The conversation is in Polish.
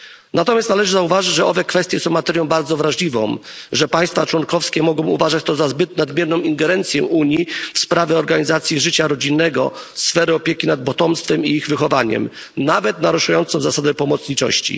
Natomiast należy zauważyć, że kwestie te są materią bardzo wrażliwą, że państwa członkowskie mogą uważać to za zbyt nadmierną ingerencję Unii w sprawy organizacji życia rodzinnego, w sfery opieki nad potomstwem i ich wychowaniem, nawet naruszenie zasady pomocniczości.